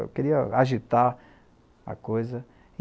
Eu queria agitar a coisa.